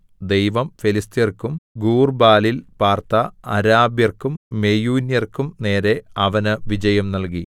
ദൈവം ഫെലിസ്ത്യർക്കും ഗൂർബാലിൽ പാർത്ത അരാബ്യർക്കും മെയൂന്യർക്കും നേരെ അവന് വിജയം നൽകി